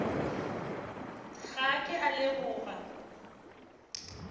ga a ke a leboga